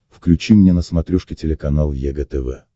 включи мне на смотрешке телеканал егэ тв